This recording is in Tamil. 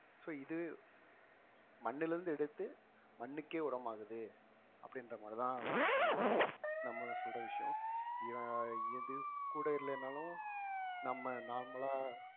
so இது மண்ணிலிருந்து எடுத்து மண்ணுக்கே உரமாகுது அப்படின்ற மாதிரிதான் ஒரு களம் நம்ம சொல்ற விஷயம் இவன் எது கூட இல்லைனாலும் நம்ம normal லா